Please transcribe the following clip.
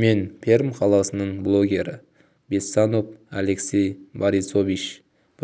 мен пермь қаласының блогері бессонов алексей борисович